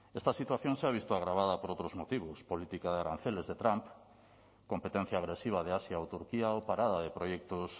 esta situación se ha visto agravada por otros motivos política de aranceles de trump competencia agresiva de asia o turquía o parada de proyectos